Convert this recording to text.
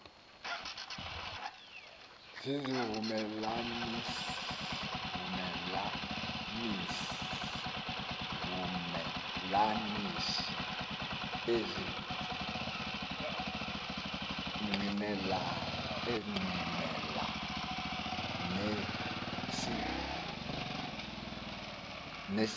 zizivumelanisi ezingqinelana nesibizo